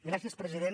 gràcies president